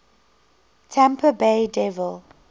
tampa bay devil